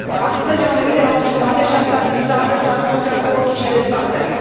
Astăzi, eu am venit de la opt jumătate și am stat în sală să ascult raportul și dezbaterea.